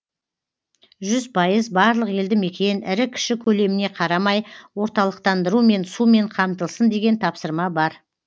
жүз пайыз барлық елді мекен ірі кіші көлеміне қарамай орталықтандырумен сумен қамтылсын деген тапсырма бар